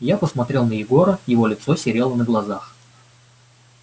я посмотрел на егора его лицо серело на глазах